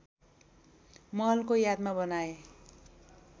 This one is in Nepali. महलको यादमा बनाए